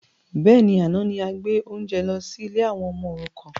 Bẹ́ẹ̀ni, àná ni a gbé oúnjẹ lọ sí ilé àwọn ọmọ òrukàn